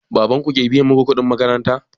Baban ku ke biya muku kuɗin makaranta?